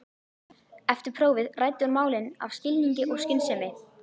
Eftir prófið ræddi hún málin af skilningi og skynsemi.